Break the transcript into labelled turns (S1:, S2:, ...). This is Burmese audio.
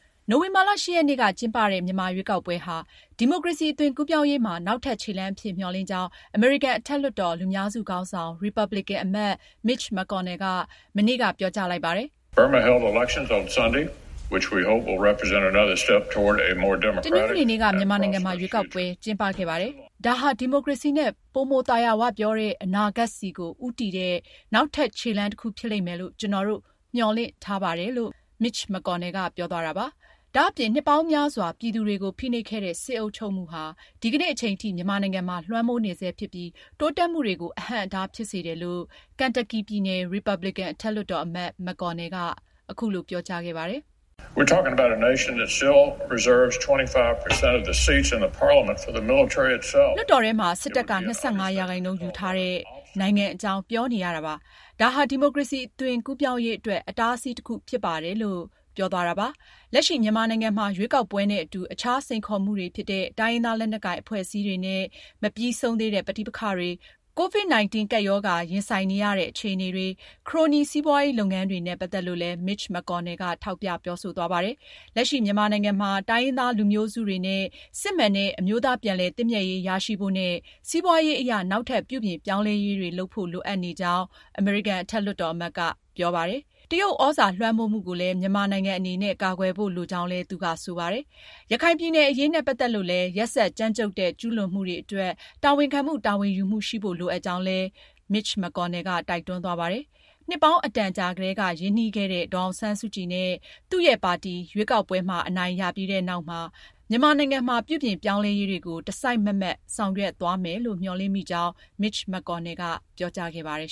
S1: နိုဝင်ဘာလ (၈)ရက်နေ့မှာကျင်းပတဲ့ မြန်မာရွေးကောက်ပွဲ ဟာ ဒီမိုကရေစီအသွင်ကူးပြောင်းရေးမှာ နောက်ထပ်ခြေလှမ်းအဖြစ် မျှော်လင့်ကြောင်း အမေရိကန် အထက်လွှတ်တော် လူများစုခေါင်းဆောင် ရီပါပလင်ကန် အမတ် Mitch McConnell က မနေ့ အင်္ဂါနေ့က ပြောကြားလိုက်ပါတယ်။
S2: ”တနင်္ဂနွေ
S1: နေ့က မြန်မာနိုင်ငံမှာ ရွေးကောက်ပွဲကျင်းပခဲ့ပါတယ်။ ဒါဟာ ဒီမိုကရေစီနဲ့ ပိုမိုသာယာဝပြောတဲ့ အနာဂတ်ဆီကို ဦးတည်တဲ့နောက်ထပ်ခြေလှမ်းတခုဖြစ်လိမ့်မယ်လို့ ကျနော်တို့ မျှော်လင့်ထားပါတယ်။” ဒါအပြင် နှစ်ပေါင်းများစွာပြည်သူတွေကို ဖိနှိပ်ခဲ့တဲ့ စစ်အုပ်ချုပ်မှုဟာ ဒီကနေ့အချိန်ထိ မြန်မာနိုင်ငံမှာ လွှမ်းမိုးနေဆဲဖြစ်ပြီး တိုးတက်မှုတွေကို အဟန့်အတားဖြစ်စေတယ်လို့ Kentucky ပြည်နယ် ရီပါပလင်ကန်အထက်လွှတ်တော်အမတ် McConnell က အထက်လွှတ်တော်မှာ ပြောကြားခဲ့ပါတယ်။ ” လွှတ်တော်ထဲမှာ စစ်တပ်က ၂၅ ရာခိုင်နှုန်းယူထားတဲ့ နိုင်ငံအကြောင်းပြောနေရတာပါ။ ဒါဟာ ဒီမိုကရေစီ အသွင်ကူးပြောင်းရေးအတွက် အတားအဆီးတခုဖြစ်ပါတယ်။” လက်ရှိမြန်မာနိုင်ငံမှာ ရွေးကောက်ပွဲနဲ့အတူ အခြားစိန်ခေါ်မှုတွေဖြစ်တဲ့ တိုင်းရင်းသားလက်နက်ကိုင်အဖွဲ့အစည်းတွေနဲ့မပြီးဆုံးသေးတဲ့ ပဋိပက္ခတွေ၊ ကိုရိုနာဗိုင်းရပ်စ် ကူးစက်မှု ကပ်ရောဂါ ရင်ဆိုင်နေရတဲ့ အခြေအနေတွေ၊ ခရိုနီစီးပွားရေးလုပ်ငန်းတွေ နဲ့ ပတ်သက်လို့လည်း Mitch McConnell က ထောက်ပြပြောဆိုသွားပါတယ်။ လက်ရှိ မြန်မာနိုင်ငံမှာ တိုင်းရင်းသားလူမျိုးစုတွေနဲ့ စစ်မှန်တဲ့ အမျိုးသားပြန်လည်သင့်မြတ်ရေးရရှိဖို့နဲ့ စီးပွားရေးအရ နောက်ထပ်ပြုပြင်ပြောင်းလဲရေးတွေလိုအပ်နေကြောင်းလည်း အမေရိကန်အထက် လွှတ်တော်အမတ်က ပြောကြားခဲ့ပါတယ်။ တရုတ်သြဇာလွှမ်းမိုးမှုကိုလည်း မြန်မာနိုင်ငံအနေနဲ့ ကာကွယ်ဖို့လိုကြောင်းလည်း သူက ဆိုပါတယ်။ ရခိုင်ပြည်နယ်အရေးနဲ့ ပတ်သက်လို့လည်း ရက်စက်ကြမ်းကြုတ်တဲ့ ကျူးလွန်မှုတွေအတွက် တာဝန်ခံမှု တာဝန်ယူမှုရှိဖို့လိုအပ်ကြောင်းလည်း Mitch McConnell က တိုက်တွန်းသွားပါတယ်။ နှစ်ပေါင်းအတန်ကြာကတည်းက ရင်းနှီးခဲ့တဲ့ ဒေါ်အောင်ဆန်းစုကြည်နဲ့ သူ့ရဲ့ပါတီ ရွေးကောက်ပွဲမှာ အနိုင်ရပြီးတဲ့နောက်မှာ မြန်မာနိုင်ငံမှာ ပြုပြင်ပြောင်းလဲရေးတွေကို တစိုက်မတ်မတ် ဆောင်ရွက်သွားမယ်လို့ မျှော်လင့်မိကြောင်း Mitch McConnell ကပြောကြားခဲ့ပါတယ်